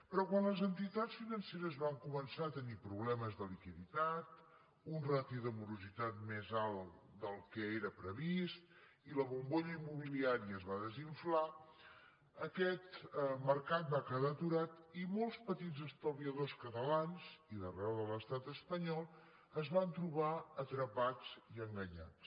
però quan les entitats financeres van començar a tenir problemes de liquiditat una ràtio de morositat més alta del que era previst i la bombolla immobiliària es va desinflar aquest mercat va quedar aturat i molts petits estalviadors catalans i d’arreu de l’estat espanyol es van trobar atrapats i enganyats